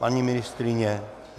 Paní ministryně?